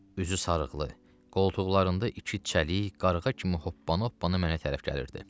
Üzü sarılıqlı, qoltuqlarında iki çəliy, qarğa kimi hoppana-hoppana mənə tərəf gəlirdi.